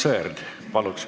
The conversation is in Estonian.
Aivar Sõerd, küsimus.